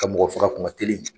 Ka mɔgɔ faga kun ka teli